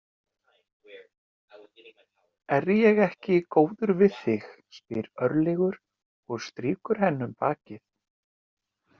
Er ég ekki góður við þig, spyr Örlygur og strýkur henni um bakið.